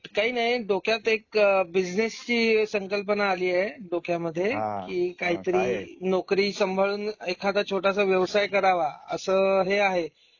काही नाही डोक्यात एक बिज़नेसची संकल्पना आली आहे डोक्यामध्ये, कि काहीतरी नोकरी संभाळून एखादा छोटासा व्यवसाय करावा अस हे आहे.